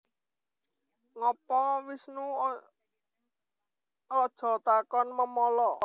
Ngopo Wisnu Aja takon memala